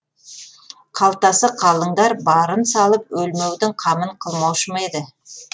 қалтасы қалыңдар барын салып өлмеудің қамын қылмаушы ма еді